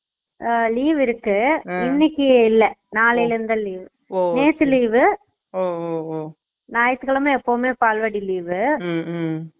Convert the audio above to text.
அஹ் leave இருக்கு இன்னைக்கு இல்ல நாளைல இருந்து தான் leave Noise நேத்து leave வு Noise நயத்து கிழம எப்பவுமே பால்வாடி leave வு